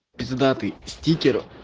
пиздатый стикер